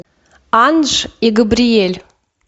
анж и габриэль